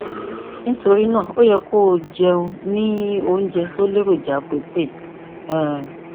nítorí náà o yẹ kó o jẹun ní oúnjẹ tó ní èròjà protein um